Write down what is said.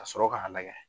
Ka sɔrɔ k'a lagɛ